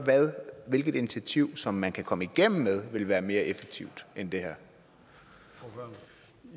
hvilket initiativ som man kan komme igennem med vil være mere effektivt end det